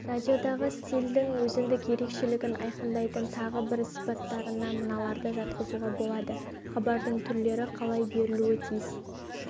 радиодағы стильдің өзіндік ерекшелігін айқындайтын тағы бір сипаттарына мыналарды жатқызуа болады хабардың түрлері қалай берілуі тиіс